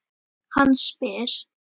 Hann spyr.